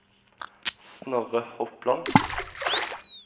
Snorre Hopland